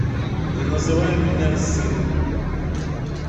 не называй меня сыном